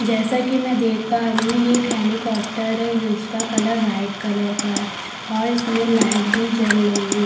जैसा कि मैं देख पा रही हूं ये एक हेलिकॉप्टर है ये उस का कलर वाइट कलर का है और इसमें लाइट भी जल रही है।